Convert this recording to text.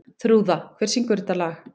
Þrúða, hver syngur þetta lag?